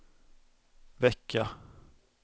vecka